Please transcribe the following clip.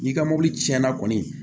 N'i ka mobili cɛnna kɔni